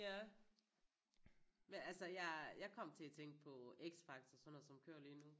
Ja ja men altså jeg jeg kom til at tænke på X Factor sådan noget som kører lige nu